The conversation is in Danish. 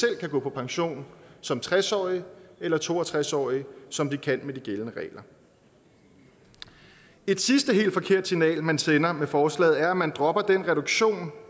kan gå på pension som tres årige eller to og tres årige som de kan med de gældende regler et sidste og helt forkert signal man sender med forslaget er at man dropper den reduktion